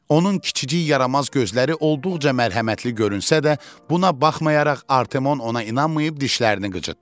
Onun kiçicik yaramaz gözləri olduqca mərhəmətli görünsə də, buna baxmayaraq Artemon ona inanmayıb dişlərini qıcıtdı.